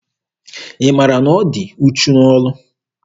Ị maara na ọ dị uchu n'ọrụ?